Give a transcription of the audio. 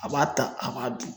A b'a ta, a b'a dun.